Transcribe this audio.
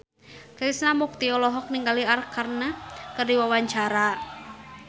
Krishna Mukti olohok ningali Arkarna keur diwawancara